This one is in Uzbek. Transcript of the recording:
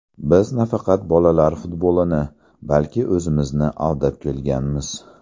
Biz nafaqat bolalar futbolini, balki o‘zimizni aldab kelganmiz.